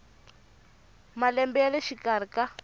malembe ya le xikarhi ka